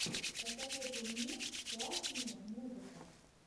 посоветуй мне классные музыка